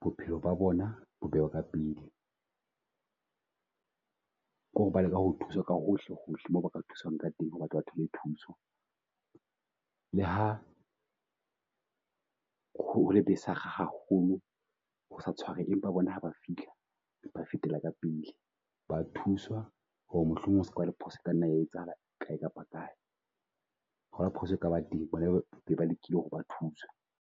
bophelo ba bona ba ka pele. Ko re ba leka ho thusa ka hohle hohle moo ba thuswang ka teng ho re ba ke ba thole thuso. Le ha ho ho le besig haholo ho , empa bona ha ba fihla ba fetela ka pele. Ba a thuswa ho re mohlomong ho ska ba le phoso e kanna ya etsahala kae kapa kae. Ho ba haphoso e kaba teng bona ba lekile ho re ba thuswe.